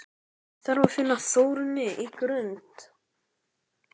Ég þarf að finna Þórunni á Grund!